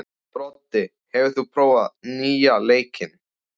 Broddi, hefur þú prófað nýja leikinn?